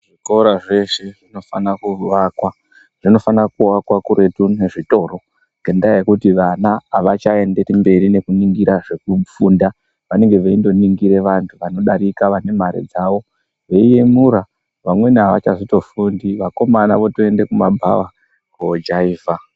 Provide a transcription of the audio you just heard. Zvikora zveshe zvinofana kuvakwa zvinofana kuvakwa kuretu nezvitoro. Ngekuti vana havachaendereri mberi nekuningirwa zvekufunda vanenge veindoningira vantu vanodarika vane mare dzavo. Veiyemura vafundi vakomana votoenda kumabhava kojaivha.